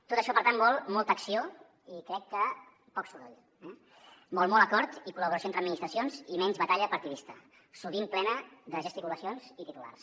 tot això per tant vol molta acció i crec que poc soroll eh vol molt acord i collaboració entre administracions i menys batalla partidista sovint plena de gesticulacions i titulars